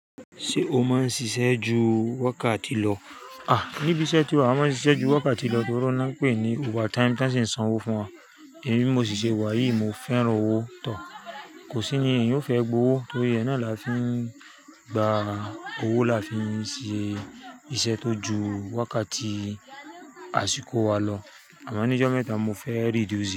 Ṣé o máa ń ṣiṣẹ́ ju wákàtí lọ? À, níbi iṣẹ́ tí wa, a máa ń ṣiṣẹ́ ju wákàtí lọ torí wọ́n pè é ní overtime. Tán ṣì ń san owó fún wa. Èmi mó ṣì ṣe wáyìí, mo fẹ́ràn owó tọ̀. Kò sí ni ẹ̀yin yóò fẹ́ gbowó torí ẹ náà là fi ń gba owó là fi ń ṣe iṣẹ́ tó ju wákàtí àsìkò wa lọ. Àmá ní jọ́ mẹ́ta mo fẹ́ rí dí ṣìré.